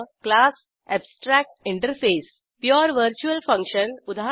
class abstract interface pure virtual function उदा